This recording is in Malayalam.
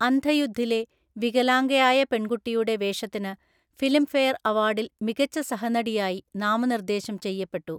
അന്ധയുദ്ധിലെ വികലാംഗയായ പെൺകുട്ടിയുടെ വേഷത്തിന് ഫിലിംഫെയർ അവാർഡിൽ മികച്ച സഹനടിയായി നാമനിർദേശം ചെയ്യപ്പെട്ടു.